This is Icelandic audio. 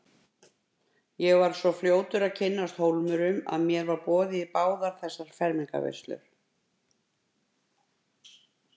Ég var svo fljótur að kynnast Hólmurum að mér var boðið í báðar þessar fermingarveislur.